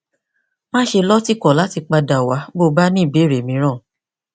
máṣe lọtìkọ láti padà wá bí o bá ní ìbéèrè mìíràn